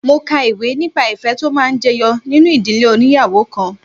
Mo ka ìwé nípa ìfẹ́ tó máa ń jẹyọ nínú ìdílé óníyàwó kan.